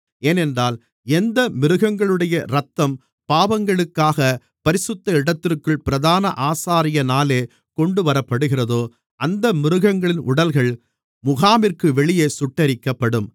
ஏனென்றால் எந்த மிருகங்களுடைய இரத்தம் பாவங்களுக்காகப் பரிசுத்த இடத்திற்குள் பிரதான ஆசாரியனாலே கொண்டுவரப்படுகிறதோ அந்த மிருகங்களின் உடல்கள் முகாமிற்கு வெளியே சுட்டெரிக்கப்படும்